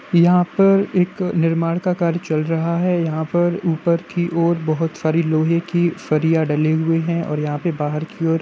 यहाँ पर एक निर्माण का कार्य चल रहा है यहाँ पर ऊपर की ओर बहोत सारी लोहै की सारिया डले हुए हैं और यहाँ पे बाहर की ओर --